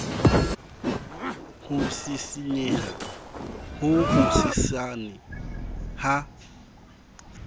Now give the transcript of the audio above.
ho sisinyeha ho hosesane ha